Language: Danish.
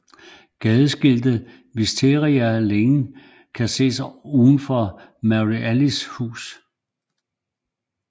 Gadeskiltet Wisteria Lane kan ses udenfor Mary Alice hus